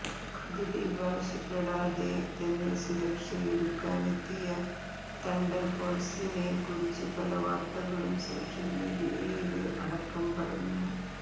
ദിലീപ് ആവശ്യപ്പെടാതെ തന്നെ സുരക്ഷയൊരുക്കാനെത്തിയ തണ്ടര്ഫോഴ്സിനെ കുറിച്ച് പല വാര്ത്തകളും സോഷ്യല് മീഡിയയില് അടക്കം പരന്നു